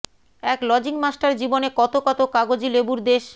এক lodging master জীবনে কতো কতো কাগজি লেবুর দেশ